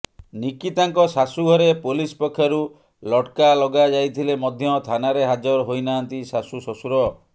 ନିକିତାଙ୍କ ଶାଶୂଘରେ ପୋଲିସ ପକ୍ଷରୁ ଲଟକା ଲଗାଯାଇଥିଲେ ମଧ୍ୟ ଥାନାରେ ହାଜର ହୋଇନାହାଁନ୍ତି ଶାଶୂ ଶ୍ୱଶୁର